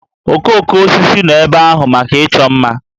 Okooko osisi nọ ebe ahụ maka ịchọ mma